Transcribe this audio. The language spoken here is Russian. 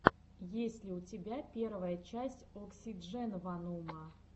есть ли у тебя первая часть оксидженванума